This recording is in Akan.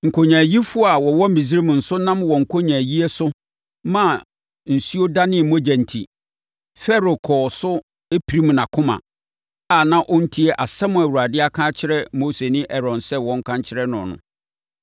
Nkonyaayifoɔ a wɔwɔ Misraim nso nam wɔn nkonyaayie so maa nsuo danee mogya enti, Farao kɔɔ so pirim nʼakoma a na ɔntie asɛm a Awurade aka akyerɛ Mose ne Aaron sɛ wɔnka nkyerɛ no no.